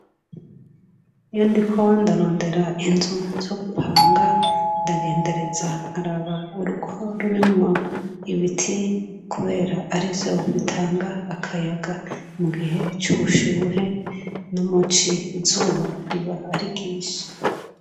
iyo ndiko ndarondera inzu zo gupanga ndagendereza nkaraba urugo rurimwo ibiti kubera arivyo bitanga akayaga mu gihe c'ubushuhe no muci izuba riba ari ryinshi